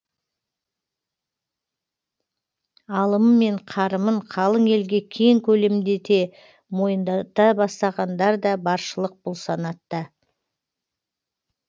алымы мен қарымын қалың елге кең көлемде мойындата бастағандар да баршылық бұл санатта